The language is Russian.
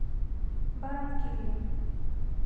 барранкилья